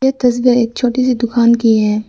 ये तस्वीर एक छोटी सी दुकान की है।